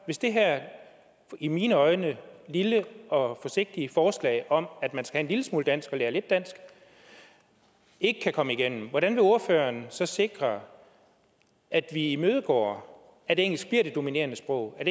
hvis det her i mine øjne lille og forsigtige forslag om at man skal have en lille smule dansk og lære lidt dansk ikke kan komme igennem hvordan vil ordføreren så sikre at vi imødegår at engelsk bliver det dominerende sprog at